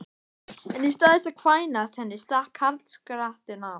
En í stað þess að kvænast henni stakk karlskrattinn af!